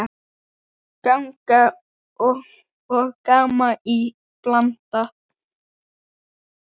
Gagn og gaman í bland.